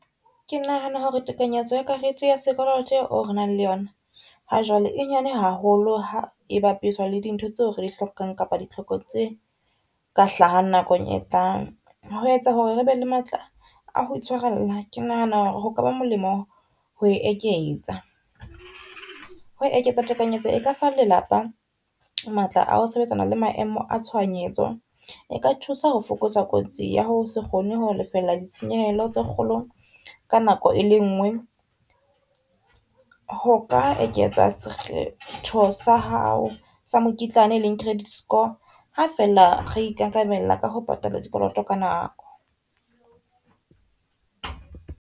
Ke nahana hore tekanyetso ya karete ya sekoloto eo re nang le yona ha jwale e nyane haholo ha e bapiswa le dintho tseo re di hlokang kapa ditlhoko tse ka hlahang nakong e tlang. Ho etsa hore re be le matla a ho itshwarella ke nahana hore ho kaba molemo ho e eketsa. Ho eketsa tekanyetso e ka fa lelapa matla a ho sebetsana le maemo a tshohanyetso, e ka thusa ho fokotsa kotsi ya ho se kgone ho lefella ditshenyehelo tse kgolo ka nako e lengwe, ho ka eketsa sekgetho sa hao sa mokitlane e leng credit score. Ha fela re ikarabella ka ho patala dikoloto ka nako.